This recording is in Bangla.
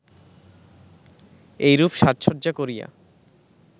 এইরূপ সাজ-সজ্জা করিয়া